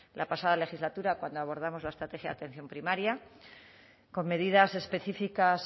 la pasada legislatura cuando abordamos la estrategia de atención primaria con medidas específicas